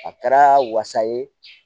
A kɛra wasa ye